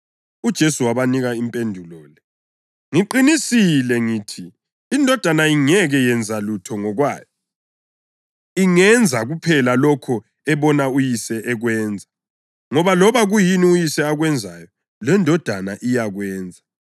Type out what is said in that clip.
UJesu wabanika impendulo le: “Ngiqinisile ngithi iNdodana ingeke yenze lutho ngokwayo; ingenza kuphela lokho ebona uYise ekwenza, ngoba loba kuyini uYise akwenzayo leNdodana iyakwenza.